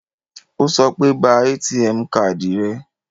Ó sọ pé, ba ATM káàdì rẹ